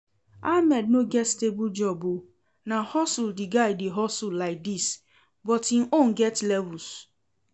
Ahmed no get stable job oo, na hustle the guy dey hustle like dis, but im own get levels